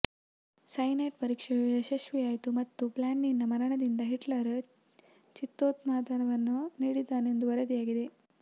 cyanide ಪರೀಕ್ಷೆಯು ಯಶಸ್ವಿಯಾಯಿತು ಮತ್ತು ಬ್ಲಾಂಡಿನ ಮರಣದಿಂದ ಹಿಟ್ಲರ್ ಚಿತ್ತೋನ್ಮಾದವನ್ನು ನೀಡಿದ್ದಾನೆಂದು ವರದಿಯಾಗಿದೆ